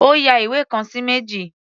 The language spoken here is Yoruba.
Ó ya ìwé kan sí méjì.